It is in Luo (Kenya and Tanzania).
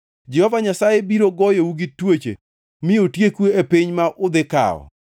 Jehova Nyasaye biro goyou gi tuoche mi otieku e piny ma udhi kawo.